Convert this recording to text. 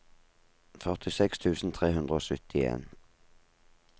førtiseks tusen tre hundre og syttien